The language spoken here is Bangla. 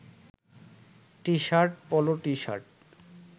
T-shirt, polo T-shirt